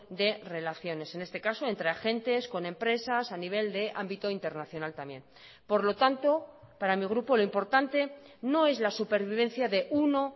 de relaciones en este caso entre agentes con empresas a nivel de ámbito internacional también por lo tanto para mi grupo lo importante no es la supervivencia de uno